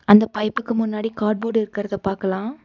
அந்த பைப்புக்கு முன்னாடி கார்ட்போர்ட் இருக்கறத பாக்கலா.